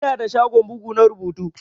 Ina da shagon bugu na rubutu.